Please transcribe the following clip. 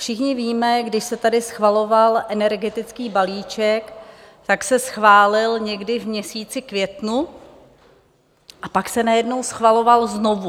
Všichni víme, když se tady schvaloval energetický balíček, tak se schválil někdy v měsíci květnu, a pak se najednou schvaloval znovu.